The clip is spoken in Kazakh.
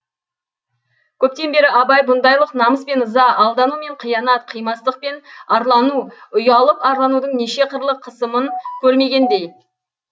көптен бері абай бұндайлық намыс пен ыза алдану мен қиянат қимастық пен арлану ұялып арланудың неше қырлы қысымын көрмегендей